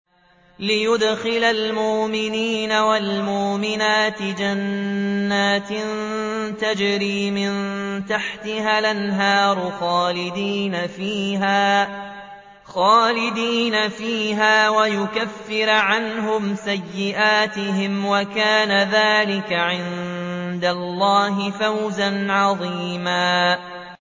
لِّيُدْخِلَ الْمُؤْمِنِينَ وَالْمُؤْمِنَاتِ جَنَّاتٍ تَجْرِي مِن تَحْتِهَا الْأَنْهَارُ خَالِدِينَ فِيهَا وَيُكَفِّرَ عَنْهُمْ سَيِّئَاتِهِمْ ۚ وَكَانَ ذَٰلِكَ عِندَ اللَّهِ فَوْزًا عَظِيمًا